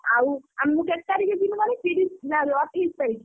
ଆଉ ଆଉ ମୁଁ କେତେ ତାରିଖ୍ ଯିବି କହନି ତିରିଶି ନାଲୋ ଅଠେଇଶି ତାରିଖ୍।